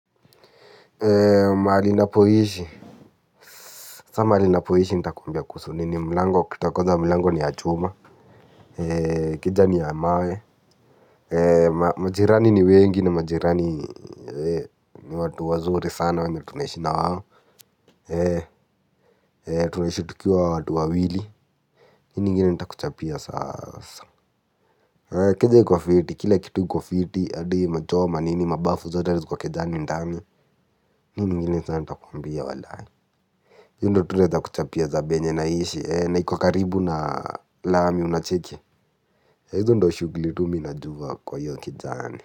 Mahali napoishi. Sa mahali napoishi nitakwambia kuhusu nini? Mlango ukuta kwanza mlango ni ya chuma. Keja ni ya mawe. Majirani ni wengi ni majirani ni watu wazuri sana na tunaishi na wao. Tunaishi tukiwa watu wawili. Nini ingine nitakuchapia sasa. Keja iko fiti, kila kitu iko fiti, hadi machoo manini mabafu zote ziko kejani ndani. Nini ingine sasa nitakuchapia walai? Hii ndo tu naeza kuchapia za penye naishi ee na iko karibu na lami unacheki? Yah hizo ndo shughuli tu mi najua kwa hiyo kejani.